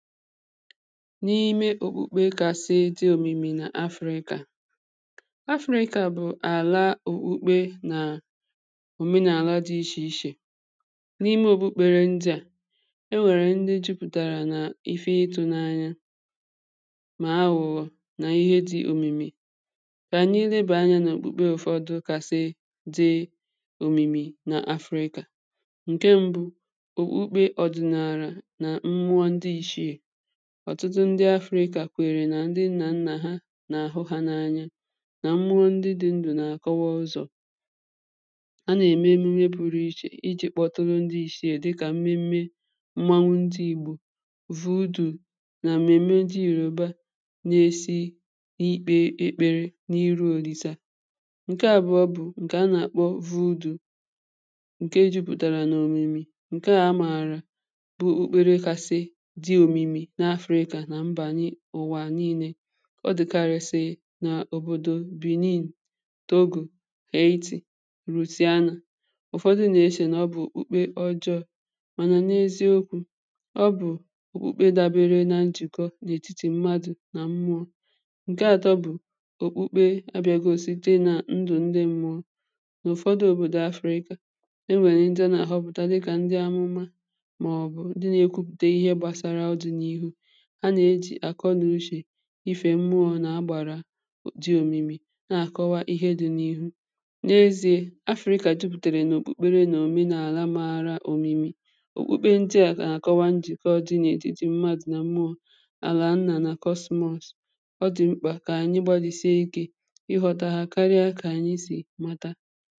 n’ime òkpukpe kàsị òmimi nà africa africa bụ̀ àla òkpukpe nà òmenaàla dị ichè ichè n’ime òkpukpere ndị à e nwèrè nne jupùtàrà nà ife ịtụ̇ n’anya mà awụ̀wọ̀ nà ihe dị òmìmì kà nííle bụ̀ ányá nà òkpukpe ụ̀fọdụ kàsị dị òmìmì nà afrika ǹke mbụ òkpukpe ọ̀dị̀nàrà ọ̀tụtụ ndi afrikà kwèrè nà ndi nnà nnà ha nà àhụ ha n’anya nà mmụọ ndị dị ndụ̀ nà àkọwa ụzọ̀ a nà-ème nne buru ichè iji̇ kpọtụrụ ndi ishi̇ è dịkà mmeme mmanwụ ndi igbò vidù na mmeme di ìrùba na-esi ikpe ekpere n’iru òlìsa ǹke àbụọ bụ̀ ǹkè a nà-àkpọ vidù ǹke jupụtara n’òmìmì ǹke àmàrà ụwà nii̇nė ọ dị̀karịsị n’òbòdò benin dogù kà eti̇ rụsịanà ụ̀fọdị nà-eshè nà ọ bụ̀ òkpukpe ọ jọ̇ mànà n’eziokwu̇ ọ bụ̀ òkpukpe dàbere na njùkọ n’ètitì mmadù nà mmụọ ǹke atọ bụ̀ òkpukpe abịagò site nà ndị mmụọ n’ụfọdụ òbòdò afịra ikȧ e nwèrè ndị a nà-àhọpụ̀ta dị kà ndị amụma màọ̀bụ̀ ndị na-ekwupùtè ihe gbàsara ọdị n’ihu ha na-eji akọ n’ushè ife mmụọ na-agbara òdi òmìmì na-akọwa ihe dị n’ihu n’ezie africa juputèrè nà òkpùkpere nà omenala maara òmìmì òkpùkpe ndị a ka na-akọwa njì keọdịnịetrị etiti mmadụ̀ na mmụọ àla nna na kosemos ọ dị̀ mkpa ka anyị gbalisi ike ịghọ̀ta ha karịa ka anyị si mata